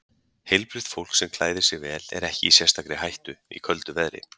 Heilbrigt fólk sem klæðir sig vel er ekki í sérstakri hættu í köldu veðri.